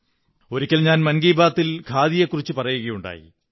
ഒരിക്കൽ ഞാൻ മൻ കീ ബാത്തിൽ ഖാദിയെക്കുറിച്ചു പറയുകയുണ്ടായി